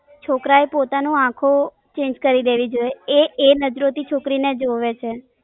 છોકરા એ પોતાનું આખો Change કરી દેવી જોઈએ એ એ નજારો થી છોકરીને જોવે છે.